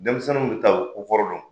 Denmisɛnninw bi taa ,u bi ko kɔrɔ dɔn.